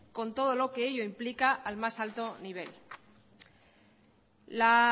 con todo lo que ello implica al más alto nivel la